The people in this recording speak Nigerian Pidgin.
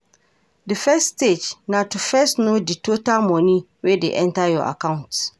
Di first stage na to first know di total money wey de enter your account